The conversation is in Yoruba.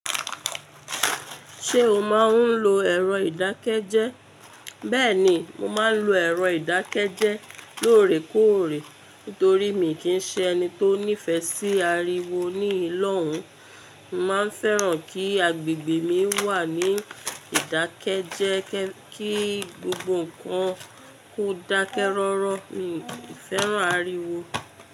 Ṣé o máa ń lo ẹ̀rọ ìdákẹ́jẹ́? Bẹ́ẹ̀ni, mo máa ń lo ẹ̀rọ ìdákẹ́jẹ́ẹ́ lóòrèkóòrè. Nítorí miì kí ń ṣe ẹni tó nífẹ̀ẹ́ sí ariwo níhìn-ín lọ́hùn-ún. Mo máa ń fẹ́ràn kí agbègbè mi wà ní ìdákẹ́jẹ́ẹ́, kí gbogbo nǹkan kó dákẹ́ rọ́rọ́. Miì fẹ́ràn ariwo.